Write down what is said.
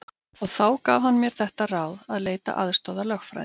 Og þá gaf hann mér þetta ráð að leita aðstoðar lögfræðings.